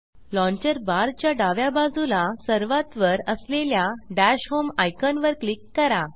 launcher bar च्या डाव्या बाजूला सर्वात वर असलेल्या dash home dash home icon वर क्लिक करा